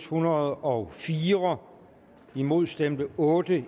hundrede og fire imod stemte otte